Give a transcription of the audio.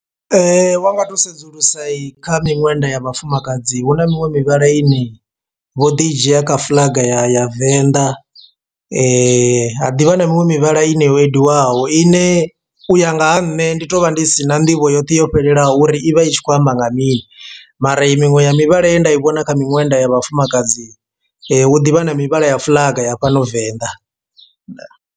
Wanga to sedzulusa i kha miṅwenda ya vhafumakadzi huna miṅwe mivhala ine vho ḓi dzhia kha fuḽaga ya venḓa ha ḓivha na miṅwe mivhala ine yo endiwaho ine u ya nga ha nṋe ndi to vha ndi si na nḓivho yoṱhe yo fhelelaho uri ivha i tshi khou amba nga mini, mara i miṅwe ya mivhala ye nda i vhona kha miṅwenda ya vhafumakadzi hu ḓivha na mivhala ya fuḽaga ya fhano venḓa ndaa.